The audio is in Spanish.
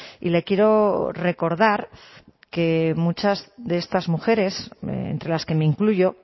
y le quiero recordar que muchas de estas mujeres entre las que me incluyo